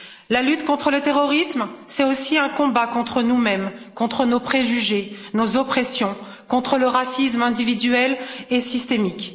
La lutte contre le terrorisme, c'est aussi un combat contre nous mêmes, contre nos préjugés, nos oppressions, contre le racisme individuel et systémique.